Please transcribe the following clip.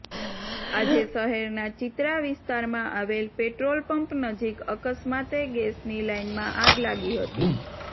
આજે શહેરના ચિત્રા વિસ્તારમાં આવેલ પેટ્રોલ પંપ નજીક અકસ્માતે ગેસની લાઇનમાં આગ લાગી હતી